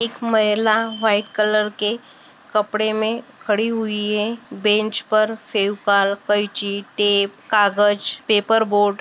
एक महिला white colour के कपड़े में खड़ी हुई है बेंच पर फेविकॉल कैची टेप कागज पेपर बोर्ड --